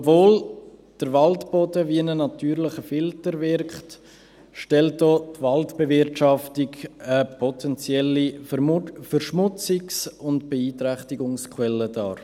Obwohl der Waldboden wie ein natürlicher Filter wirkt, stellt auch die Waldbewirtschaftung eine potenzielle Verschmutzungs- und Beeinträchtigungsquelle dar.